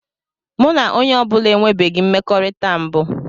Mụ na onye ọ bụla enwebeghị mmekọrịta mbụ.